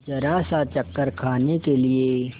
जरासा चक्कर खाने के लिए